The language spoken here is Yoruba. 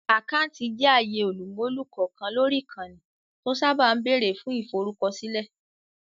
Àkáńtì jẹ́ àyè olùmúlò kọ̀ọ̀kan lórí ìkànnì, tó sáábà ń bẹ̀rẹ̀ fún ìforúkọsílẹ̀